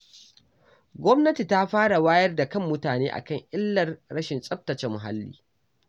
Gwamnati ta fara wayar da kan mutane a kan illar rashin tsaftace muhalli.